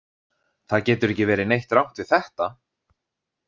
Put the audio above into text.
Það getur ekki verið neitt rangt við þetta.